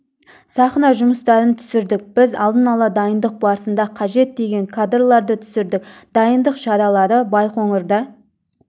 сахна жұмыстарын түсірдік біз алдын ала дайындық барысында қажет деген кадрларды түсірдік дайындық шаралары байқоңырда